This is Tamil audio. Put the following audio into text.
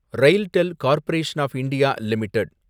RailTel corporation of India limited